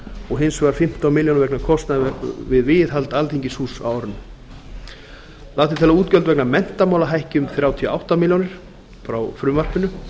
og hins vegar fimmtán milljónir vegna kostnaðar við viðhald alþingishúss á árinu lagt er til að útgjöld vegna menntamála um þrjátíu og átta milljónir frá frumvarpinu